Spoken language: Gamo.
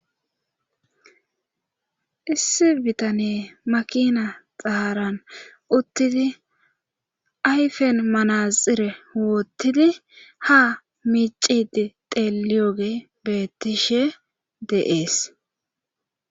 Issi bitane makina xaharan uttidi ayfen manaxire woottidi ha micidi teliyoge beettishe deees